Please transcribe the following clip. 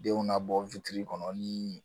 Denw nabɔ kɔnɔ ni